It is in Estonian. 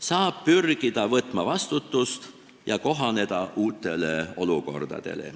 Saab pürgida võtma vastutust ja kohaneda uute olukordadega.